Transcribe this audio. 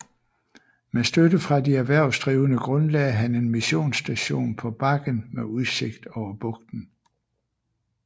Med støtte fra de erhvervsdrivende grundlagde han en missionsstation på bakken med udsigt over bugten